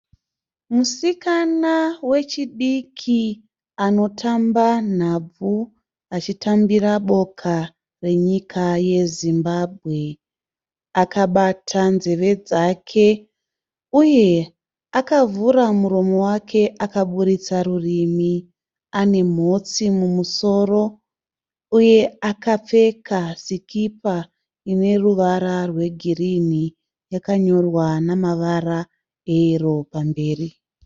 Musikana wechidiki anotamba nhabvu achitambira boka renyika yeZimbabwe. Akabata nzeve dzake uye akavhura muromo wake akabuditsa rurimi, ane mhotsi mumusoro uye akapfeka sikipa ine ruvara rwegirini yakanyorwa nemavara eyero pamberi.